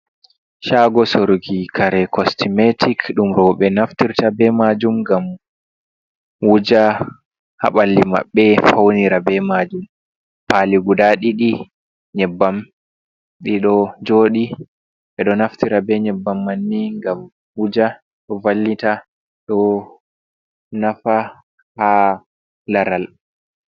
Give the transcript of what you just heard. Shago sorki kare kostmetic, ɗum ɓe naftirta be majum ngam wuja haballi maɓɓe faunira be majum pali guda ɗiɗi nyebbam bido joɗi ɓe ɗo naftira be nyebbam manni ngam wujago, ɗo vallita ɗo nafa ha laral.